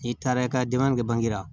N'i taara i ka denbaya kɛ bange la